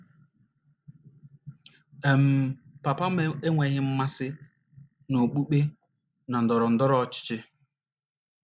um Papa m enweghị mmasị n’okpukpe na ndọrọ ndọrọ ọchịchị.